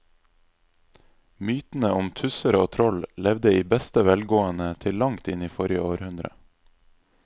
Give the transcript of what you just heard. Mytene om tusser og troll levde i beste velgående til langt inn i forrige århundre.